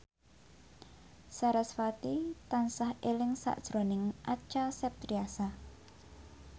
sarasvati tansah eling sakjroning Acha Septriasa